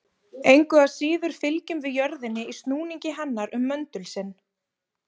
Engu að síður fylgjum við jörðinni í snúningi hennar um möndul sinn.